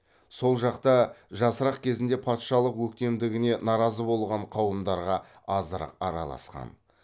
сол жақта жасырақ кезінде патшалық өктемдігіне наразы болған қауымдарға азырақ араласқан